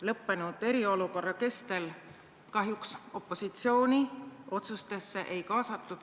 Lõppenud eriolukorra kestel kahjuks opositsiooni otsuste tegemisse ei kaasatud.